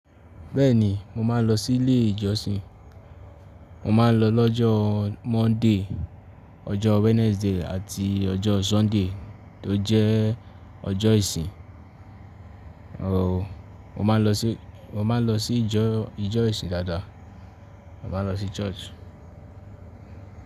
Bẹ́ẹ̀ni, mo máa ń lọ sí ilé ìjọsìn. Mo máa ń lọ lọ́jọ́ Monday, ọjọ́ Wednesday àti ọjọ́ Sunday tó jẹ́ ọjọ́ ìsin. Rárá o, mo máa ń lọ sí ìjọ ìsìn dáadáa. Mo máa ń lọ sí Church.